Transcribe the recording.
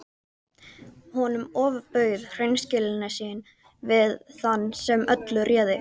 Honum ofbauð hreinskilni sín við þann sem öllu réði.